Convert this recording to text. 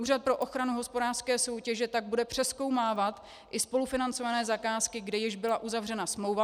Úřad pro ochranu hospodářské soutěže tak bude přezkoumávat i spolufinancované zakázky, kde již byla uzavřena smlouva.